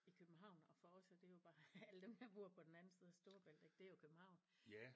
I København og for os er det jo bare alle dem der bor på den anden side af Storebælt ik det er jo København